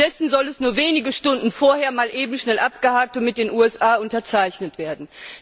Stattdessen soll es nur wenige Stunden vorher mal eben schnell abgehakt und mit den USA unterzeichnet werden.